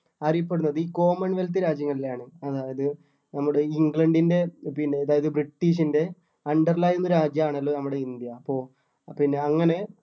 അറിയപ്പെടുന്നത് ഈ common wealth രാജ്യങ്ങളിലാണ് അതായത് നമ്മുടെ ഈ ഇംഗ്ലണ്ടിൻ്റെ പിന്നെ അതായത് ബ്രിട്ടീഷ്ൻ്റെ under ൽ ആയിരുന്ന രാജ്യം ആണല്ലോ നമ്മുടെ ഇന്ത്യ അപ്പൊ പിന്നെ അങ്ങനെ